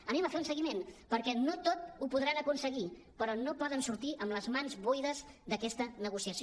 anem a fer un seguiment per·què no tot ho podran aconseguir però no poden sortir amb les mans buides d’aques·ta negociació